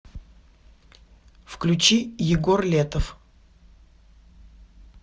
включи егор летов